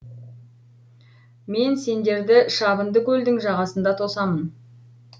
мен сендерді шабынды көлдің жағасында тосамын